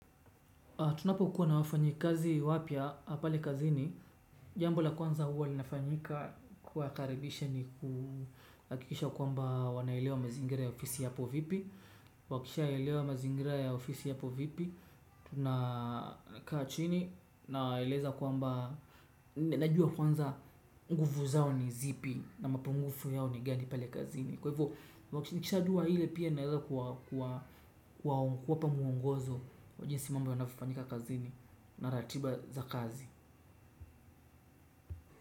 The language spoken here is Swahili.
Tunapokuwa na wafanyikazi wapya, pale kazini, jambo la kwanza huwa linafanyika kuwa karibisha ni kuhakikisha kwamba wanaelewa mazingira ya ofisi yapo vipi, wakishaelewa mazingira ya ofisi yapo vipi, tunakaa chini na eleza kwamba, najua kwanza nguvu zao ni zipi na mapungufu yao ni gani pale kazini. Kwa hivyo, nikisha jua ile pia naweza kuwapa mwongozo kwa jinsi mambo yonavyofanyika kazini na ratiba za kazi.